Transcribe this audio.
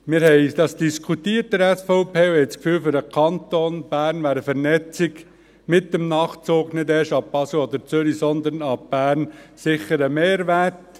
Wir haben das in der SVP diskutiert und haben das Gefühl, für den Kanton Bern wäre eine Vernetzung mit dem Nachtzug nicht erst ab Basel oder Zürich, sondern ab Bern sicher ein Mehrwert.